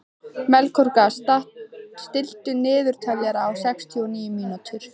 Melkorka, stilltu niðurteljara á sextíu og níu mínútur.